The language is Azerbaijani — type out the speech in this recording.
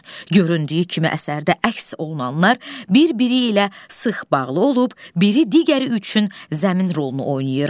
Göründüyü kimi əsərdə əks olunanlar bir-biri ilə sıx bağlı olub, biri digəri üçün zəmin rolunu oynayır.